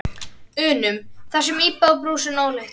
unum, þessum úðabrúsum ólyktar.